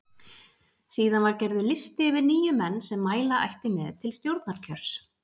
Síðan var gerður listi yfir níu menn sem mæla ætti með til stjórnarkjörs.